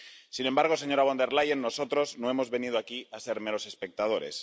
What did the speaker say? Sin embargo, señora Von der Leyen, nosotros no hemos venido aquí a ser meros espectadores.